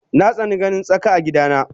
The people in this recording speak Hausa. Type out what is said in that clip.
Natsani ganin tsaka a gida na